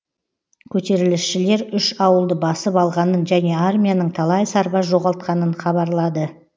көтерілісшілер үш ауылды басып алғанын және армияның талай сарбаз жоғалтқанын хабарлады